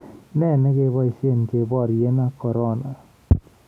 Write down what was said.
Ne negeboisye keboirye ak korona?